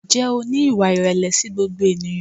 Ǹjẹ́ o ní ìwà ìrẹ̀lẹ̀ sí gbogbo ènìyàn?